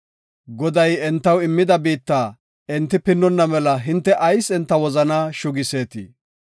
Goday entaw immida biitta enti pinnonna mela hinte ayis enta wozanaa shugiseetii?